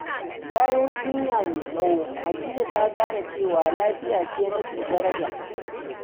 Bayan jinya mai tsawo, Hadiza ta gane cewa lafiya ce mafi daraja.